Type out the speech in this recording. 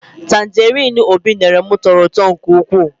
Tanjerin Obi nyere m tọrọ ụtọ nke ụkwụ